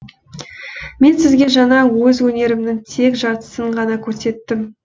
мен сізге жаңа өз өнерімінің тек жартысын ғана көрсеттім